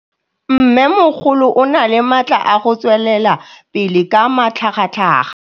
Mmêmogolo o na le matla a go tswelela pele ka matlhagatlhaga.